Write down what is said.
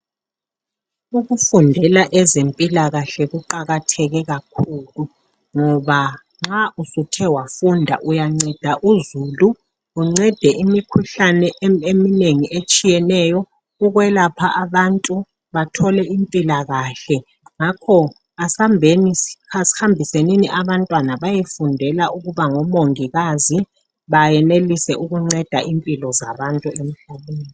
Ukufundela ezempilakahle kuqakatheke kakhulu ngoba nxa usuthe wafunda uyanceda uzulu uncede imikhuhlane eminengi etshiyeneyo ukwelapha abantu bathole impilakahle ngakho asambisenini abantwana bayofundela ukuba ngomongikazi bayenelise ukunceda impilo zabantu emhlabeni.